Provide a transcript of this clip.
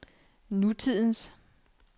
nutidens